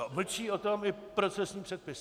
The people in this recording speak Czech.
A mlčí o tom i procesní předpisy!